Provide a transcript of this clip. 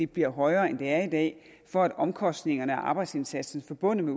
bliver højere end det er i dag for at omkostningerne og arbejdsindsatsen forbundet